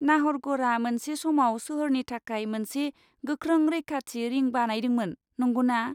नाहरगढ़आ मोनसे समाव सोहोरनि थाखाय मोनसे गोख्रों रैखाथि रिंग बानायदोंमोन, नंगौना?